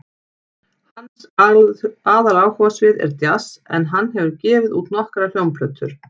Hans aðaláhugasvið er djass en hann hefur gefið út nokkrar hljómplötur.